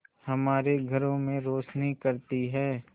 हमारे घरों में रोशनी करती है